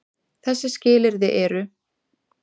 Þessi skilyrði eru: